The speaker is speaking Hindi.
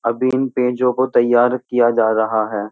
अभी इन पेजों को तैयार किया जा रहा है।